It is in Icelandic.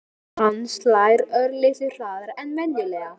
Hjarta hans slær örlitlu hraðar en venjulega.